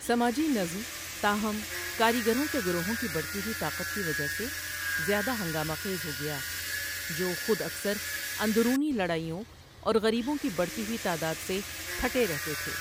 سماجی نظم، تاہم، کاریگروں کے گروہوں کی بڑھتی ہوئی طاقت کی وجہ سے زیادہ ہنگامہ خیز ہو گیا، جو خود اکثر اندرونی لڑائیوں اور غریبوں کی بڑھتی ہوئی تعداد سے پھٹے رہتے تھے۔